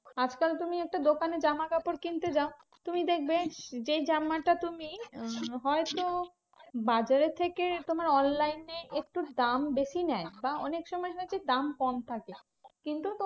আজকাল তুমি একটা দোকানে জামাকাপড় কিনতে যাও। তুমি দেখবে, যেই জামাটা তুমি আহ হয়তো বাজারের থেকে তোমার online এ একটু দাম বেশি নেয় বা অনেকসময় দেখি দাম কম থাকে। কিন্তু